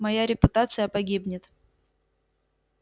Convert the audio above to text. моя репутация погибнет